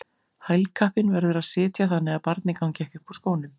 Hælkappinn verður að sitja þannig að barnið gangi ekki upp úr skónum.